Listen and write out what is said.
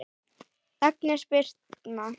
Agnes Birtna.